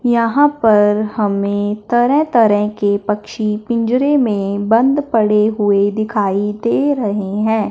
यहां पर हमें तरह तरह के पक्षी पिंजरे में बंद पड़े हुए दिखाई दे रहे हैं।